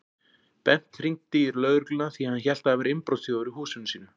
Bent hringdi í lögregluna því hann hélt að það væri innbrotsþjófur í húsinu sínu.